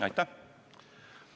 Aitäh!